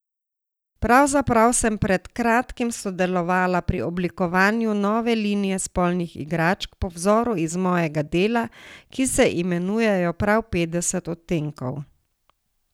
Pravzaprav sem pred kratkim sodelovala pri oblikovanju nove linije spolnih igračk po vzoru iz mojega dela, ki se imenujejo prav Petdeset odtenkov.